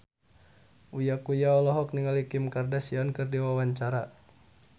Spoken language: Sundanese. Uya Kuya olohok ningali Kim Kardashian keur diwawancara